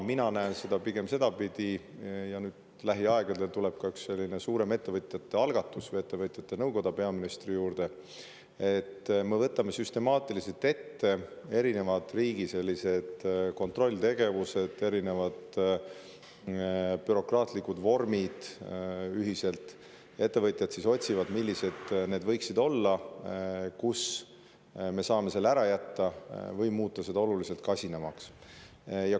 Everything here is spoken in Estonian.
Mina näen seda pigem sedapidi – lähiaegadel tuleb peaministri juures kokku ka üks suurem ettevõtjate algatus või nõukoda –, et me võtame süstemaatiliselt ette riigi erinevad kontrolltegevused, erinevad bürokraatlikud vormid, ning ettevõtjad siis ühiselt otsivad, millised võiksid olla need, mida me saame ära jätta või mida muuta oluliselt kasinamaks.